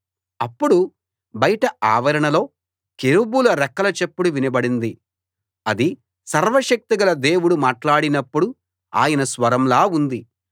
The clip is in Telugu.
అప్పుడు బయట ఆవరణలో కెరూబుల రెక్కల చప్పుడు వినబడింది అది సర్వశక్తిగల దేవుడు మాట్లాడినప్పుడు ఆయన స్వరంలా ఉంది